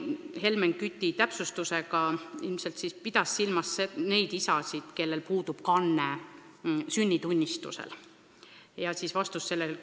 Helmen Kütt täpsustas, et Maris Lauri pidas silmas neid isasid, kelle kohta lapse sünnitunnistusel pole kannet tehtud.